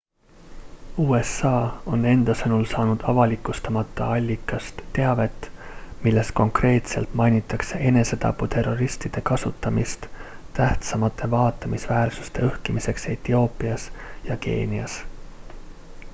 usa on enda sõnul saanud avalikustamata allikast teavet milles konkreetselt mainitakse enesetaputerroristide kasutamist tähtsamate vaatamisväärsuste õhkimiseks etioopias ja keenias